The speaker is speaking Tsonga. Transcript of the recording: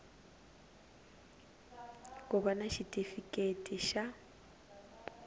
ku va na xitifiketi xa